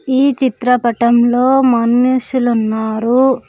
ఈ చిత్రపటంలో మనుషులు ఉన్నారు.